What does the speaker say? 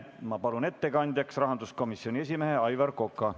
Ma palun ettekandjaks rahanduskomisjoni esimehe Aivar Koka.